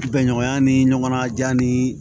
Bɛnɲɔgɔnya ni ɲɔgɔn na jan ni